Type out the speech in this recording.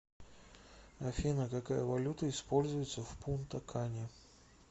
афина какая валюта используется в пунта кане